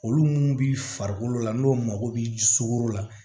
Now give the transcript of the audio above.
Olu mun bi farikolo la n'o mako bi ji sogo la